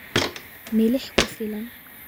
Milix ku filan